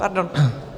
Pardon.